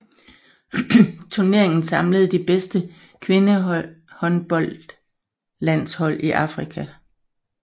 Turneringen samlede de bedste kvindehåndboldlandshold i Afrika